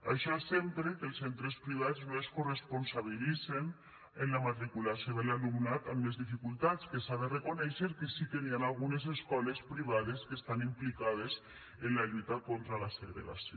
això sempre que els centres privats no es coresponsabilitzen en la matriculació de l’alumnat amb més dificultats que s’ha de reconèixer que sí que hi han algunes escoles privades que estan implicades en la lluita contra la segregació